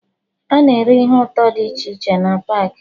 Ana ere ihe ụtọ dị iche iche na paakị